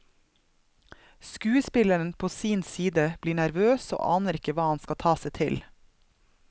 Skuespilleren på sin side blir nervøs og aner ikke hva han skal ta seg til.